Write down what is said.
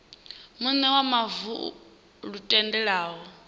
muṋe wa mavu lu tendelaho